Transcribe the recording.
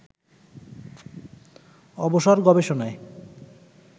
অবসর গবেষণায়